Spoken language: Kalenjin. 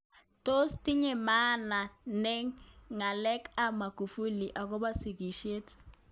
Tos tinye maana ne ng'alek ab Magufuli akobo sigisyet